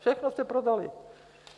Všechno jste prodali!